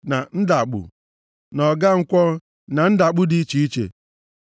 na ndagbụ, na ọgankwọ, na ndagbụ dị iche iche,